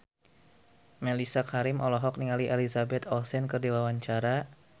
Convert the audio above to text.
Mellisa Karim olohok ningali Elizabeth Olsen keur diwawancara